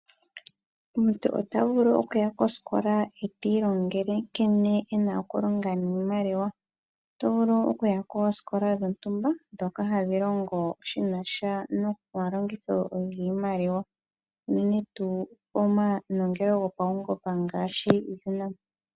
Omuntu ota vulu okuya kosikola eti ilongele nkene ena okulonga niimaliwa. Oto vulu okuya koosikola dhontumba ndhoka hadhi longo shina sha nomalongitha giimaliwa unene tuu omanongelo gopaungomba ngaashi UNAM.